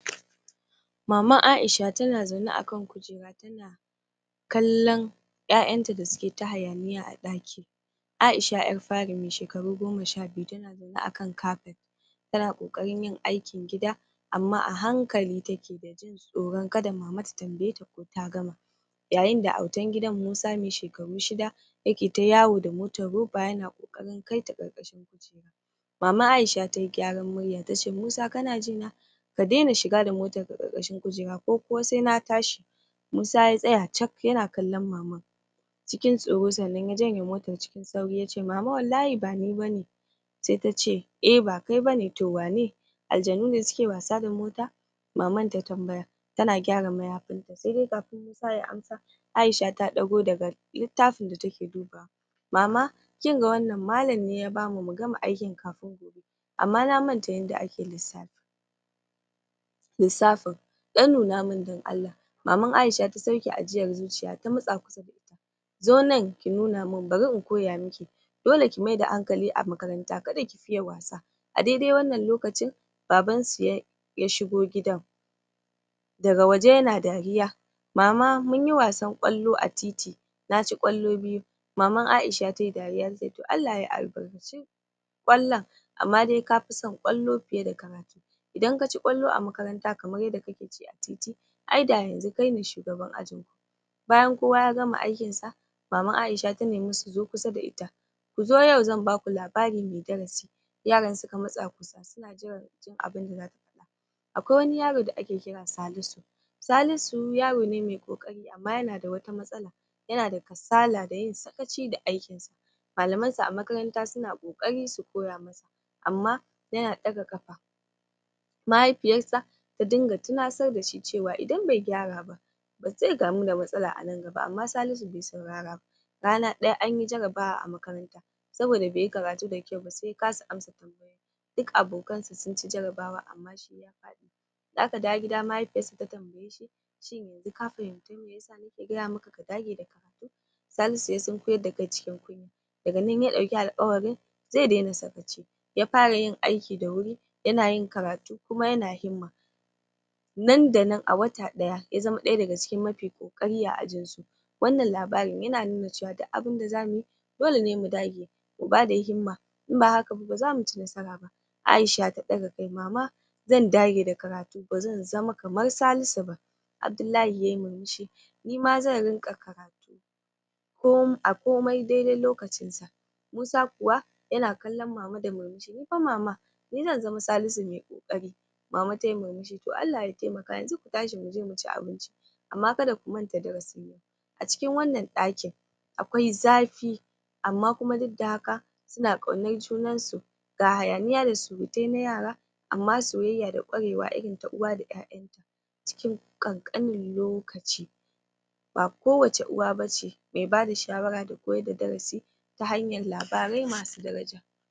Maman Aisha tana zaune akan kujera tana kallan ƴaƴanya da suketa hayaniya a ɗaki. Aisha ƴar fari mai shekaru goma shabiyu tana zaune akan kapet tana ƙoƙarin yin aikin gida amma a hankali taki dajin tsoron kada mama ta tambayeta ko ta gama Yayinda autan gidan Musa mai shekaru shida yaketa yawo da motar roba yana ƙoƙarin kaita ƙarƙashin kujera. Maman Aisha tayi gyaran murya tace Musa kana jina ka daina shiga da motarka ƙarƙashin kujera ko sai na tashi Musa ya tsaya cak yana kallon maman cikin tsoro sannan ya janye motar cikin sauri yace mama wallahi bani ba ne. Sai ta ce eh ba kai ba ne to waye aljanu ne suke wasa da mota Maman ta tambaya tana gyara mayafinta saidai kafin Musa ya amsa Aisha ta ɗago daga littafin da take dubawa. Mama kinga wannan malam ne ya bamu mugama kafin gobe. aman na manta yanda ake lissafin lissafin ɗan nunamun don Allah. Maman Aisha ta sauke ajiyar zuciya ta matsa kusa da ita, zo nan ki nunamun bari in koya miki dole ki maida hankali a makaranta kada ki fiye wasa. A daidai wannan lokacin babansu ya shigo gidan daga waje yana dariya. Mama munyi wasan ƙwallo a titi na ci ƙwallo biyu Maman A'isha ta yi dariya ta ce Allah ya albarkaci ƙwallon amma dai ka fi son ƙwallo fiye da karatu Idan ka ci kwallon a makaranta kamar yanda kake ci a titi ai da yanzu kaine shugaban ajin Bayan kowa ya gama aikinsa Maman Aisha ta nimi su zo kusa da ita, ku zo yau zan baku labari mai darasi. Yaran suka matsa kusa suna jiran jin abinda zata faɗa. Akwai wani yaro da ake kira Salisu, Salisu yarone mai ƙoƙari amma yana da wata matsala yana da kasala da yin sakaci da aikinsa. Malamansa a makaranta suna kokari su koya masa amma yana ɗaga kafa. Mahaifiyarsa ta dinga tunasar dashi cewa idan bai gyara ba zai gamu da matsala a nan gaba amma Salisu bai sauraraba. Rana ɗaya anyi jarabawa a makaranta saboda bai yi karatu dakyau ba sai ya kasa ansa tamba duk abokansa sun ci jarabawa amma shi ya faɗi. Da aka dawo gida mahaifiyarsa ta tambayeshi shin yanzu ka fahimci mai yasa nake gaya maka ka dage da karatu. Salisu ya sunkuyar da kai cikin kunya daga nan ya dauki alkawarin zai daina sakaci ya fara yin aiki da wuri yana yin karatu kuma yana himma. Nan da nan a wata ɗaya ya zama ɗaya daga cikin mafi ƙoƙari a ajinsu. Wannan labarin yana nuna cewa duk abunda zamuyi dole ne mu dage mu bada himma in ba hakaba ba zamu ci nasara ba. Aisha ta ɗaga kai, mama zan dage da karatu ba zan zama kamar Salisu ba. Abdullahi ya yi murmushi nima zan rinƙa karatu a komai daidai lokacinsa. Musa kuwa yana kallon mama da murmushi, nifa mama ni zan zama Salisu mai ƙoƙari. Mama tayi murmushi to Allah ya taimaka yanzu ku tashi muje muci abinci amma kada ku manta darasi na. A cikin wannan ɗakin akwai zafi amma kuma duk da haka suna ƙaunar junarsu ga hayaniya da surutai na yara amma soyayya da ƙwarewa irin ta uwa da ƴaƴanta cikin ƙanƙanin lokaci. ba kowace uwa ba ce mai bada shawara da koyar da darasi